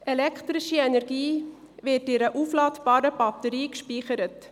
Elektrische Energie wird in einer aufladbaren Batterie gespeichert.